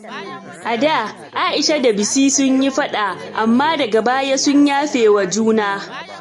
A da, Aisha da Bisi sun yi faɗa, amma daga baya sun yafewa juna.